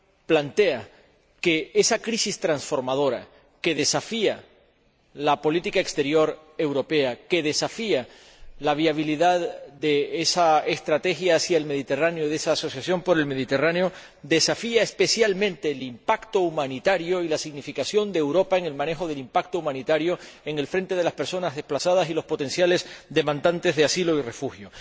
plantea que esa crisis transformadora que desafía la política exterior europea, que desafía la viabilidad de esa estrategia para el Mediterráneo, de esa asociación por el Mediterráneo, desafía especialmente el impacto humanitario y la significación de Europa en el manejo del impacto humanitario en el frente de las personas desplazadas y los potenciales solicitantes de asilo y refugio.